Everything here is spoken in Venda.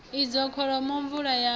idzo kholomo mvula ya na